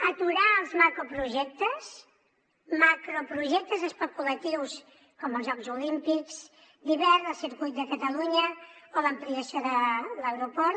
aturar els macroprojectes especulatius com els jocs olímpics d’hivern el circuit de catalunya o l’ampliació de l’aeroport